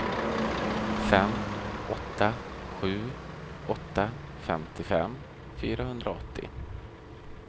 fem åtta sju åtta femtiofem fyrahundraåttio